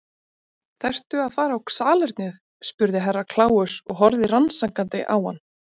Þarftu að fara á salernið spurði Herra Kláus og horfði rannsakandi á hann.